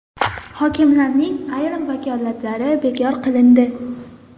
Hokimlarning ayrim vakolatlari bekor qilindi.